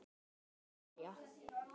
Setta María.